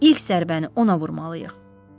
İlk zərbəni ona vurmalıyıq.